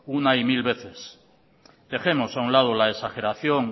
una y mil veces dejemos a un lado la exageración